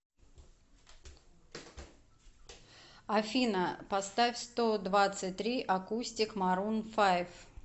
афина поставь стодвадцатьтри акустик марун файв